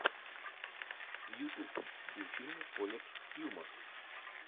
ютуб включи мне колледж хьюмор